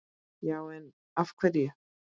Já en. af hverju?